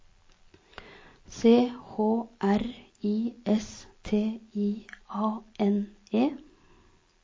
C H R I S T I A N E